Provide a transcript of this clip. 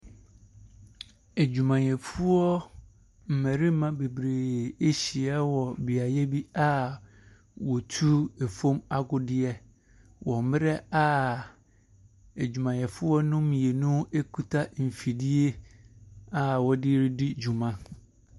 Adwumayɛfoɔ mmarima bebree ahyiua wɔ beae bi a wotu fam agudeɛ wɔ mmerɛ a adwumayɛfoɔ no mmienu kuta mfidie a wɔde redi dwuma.